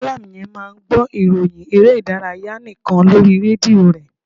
Mallam yen máà ń gbọ́ ìròhìn eré ìdárayá nikan lórí rédíò re.